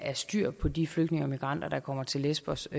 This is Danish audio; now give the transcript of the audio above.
er styr på de flygtninge og migranter der kommer til lesbos